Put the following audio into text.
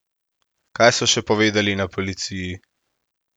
Kaj so še povedali na policiji?